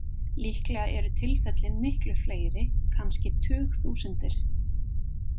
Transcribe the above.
Líklega eru tilfellin miklu fleiri, kannski tugþúsundir.